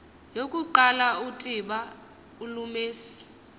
yokuqala utiba ulumise